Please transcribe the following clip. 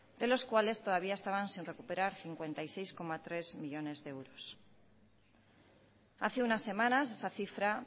de los cuales todavía estaban sin recuperar cincuenta y seis coma tres millónes de euros hace unas semanas esa cifra